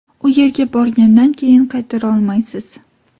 U yerga borgandan keyin qaytara olmaysiz.